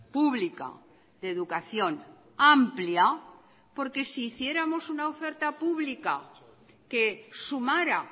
pública de educación amplia porque si hiciéramos una oferta publica que sumara